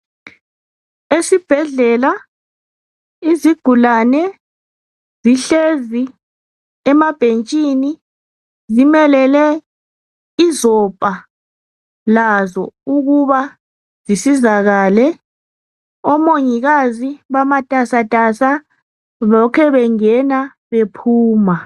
Esibhedlela izigulane zihlezi emabhentshini ,zimelele izopha lazo ukuba zisizakale . Omongikazi bamatasatasa ,lokhe bengena bephuma.